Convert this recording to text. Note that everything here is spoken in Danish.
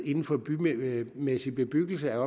inden for bymæssig bebyggelse